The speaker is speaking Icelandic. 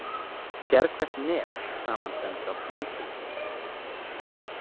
Sérhvert net samanstendur af hnútum.